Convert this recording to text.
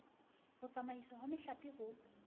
ho tsamaiswa ha mehlape ho